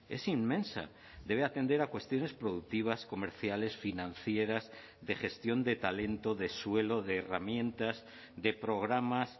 es inmensa debe atender a cuestiones productivas comerciales financieras de gestión de talento de suelo de herramientas de programas